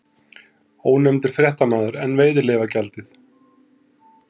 Ónefndur fréttamaður: En veiðileyfagjaldið?